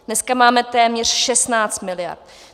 Dneska máme téměř 16 miliard.